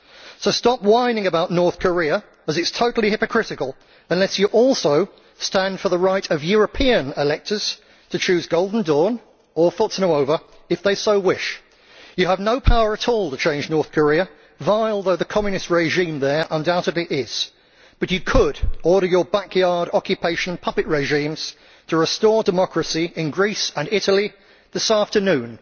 So stop whining about North Korea, as it is totally hypocritical unless you also stand for the right of European electors to choose Golden Dawn or Forza Nuova if they so wish. You have no power at all to change North Korea, vile though the Communist regime there undoubtedly is, but you could order your backyard occupation puppet regimes to restore democracy in Greece and Italy this afternoon.